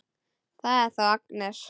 Það er þá Agnes!